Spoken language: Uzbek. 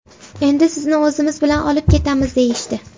Endi sizni o‘zimiz bilan olib ketamiz”, deyishdi.